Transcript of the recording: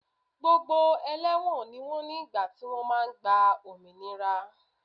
Gbogbo ẹlẹ́wọ̀n ni wọ́n ní ìgbà tí wọ́n máa gba òmìnira